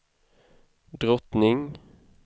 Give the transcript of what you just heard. drottning